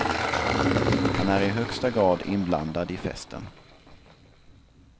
Han är i högsta grad inblandad i festen.